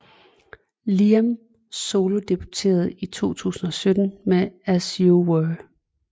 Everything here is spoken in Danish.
Liam solodebuterede i 2017 med As You Were